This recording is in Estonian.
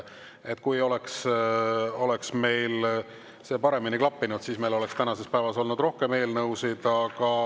Kui see oleks paremini klappinud, siis meil oleks tänases päevas olnud rohkem eelnõusid.